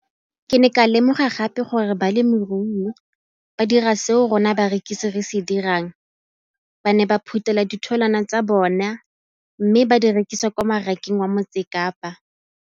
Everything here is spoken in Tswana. Ke ne ka lemoga gape gore balemirui ba dira seo rona barekisi re se dirang ba ne ba phuthela ditholwana tsa bona mme ba di rekisa kwa marakeng wa Motsekapa.